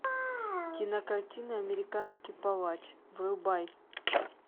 кинокартина американский палач врубай